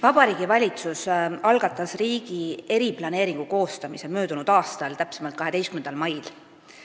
Vabariigi Valitsus algatas riigi poolt eriplaneeringu koostamise möödunud aastal, täpsemalt 12. mail.